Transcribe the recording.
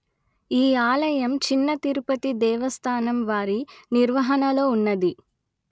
ఈ ఆలయం చిన్న తిరుపతి దేవస్థానం వారి నిర్వహణలో ఉన్నది